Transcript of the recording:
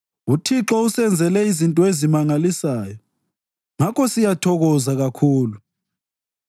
UThixo usenzele izinto ezimangalisayo, ngakho siyathokoza kakhulu.